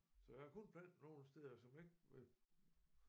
Så jeg har kun plantet nogle steder som ikke